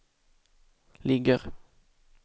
ligger